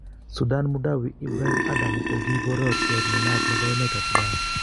Sudan Mudawi Ibrahim Adam ko kiporyotiot ne naat nepo emet ab Sudan